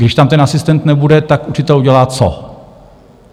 Když tam ten asistent nebude, tak učitel udělá co?